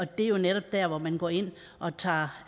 det er jo netop der hvor man går ind og tager